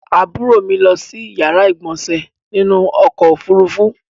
Àbúrò mi lọ si yàrá ìgbọ̀nsè nínú ọkò òfurufú.